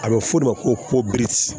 A bɛ fɔ o de ma ko